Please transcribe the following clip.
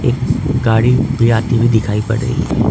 गाड़ी भी आती हुई दिखाई पड़ रही है।